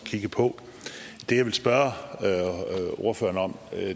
kigge på det jeg vil spørge ordføreren om er